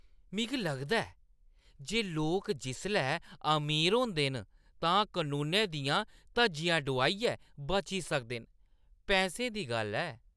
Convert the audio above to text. मिगी लगदा ऐ जे लोक जिसलै अमीर होंदे न तां कनूनै दियां धज्जियां डोआइयै बची सकदे न। पैसें दी गल्ल ऐ!